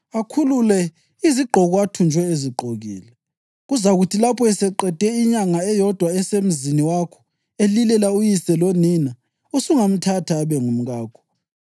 akhulule izigqoko athunjwe ezigqokile. Kuzakuthi lapho eseqede inyanga eyodwa esemzini wakho elilela uyise lonina, usungamthatha abe ngumkakho,